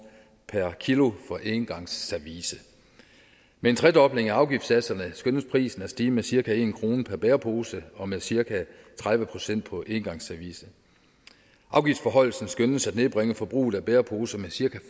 per kilogram for engangsservice med en tredobling af afgiftssatserne skønnes prisen at stige med cirka en kroner per bærepose og med cirka tredive procent på engangsservice afgiftsforhøjelsen skønnes at nedbringe forbruget af bæreposer med cirka